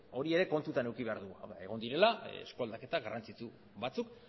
hori ere kontutan eduki behar dugu egon direla esku aldaketa garrantzitsu batzuk